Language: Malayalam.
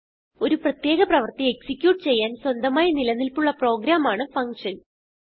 ഒരു പ്രത്യേക പ്രവർത്തി എക്സിക്യൂട്ട് ചെയ്യാൻ സ്വന്തമായി നിലനിൽപ്പുള്ള പ്രോഗ്രാമാണ് ഫങ്ഷൻ